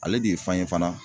Ale de ye fan ye fana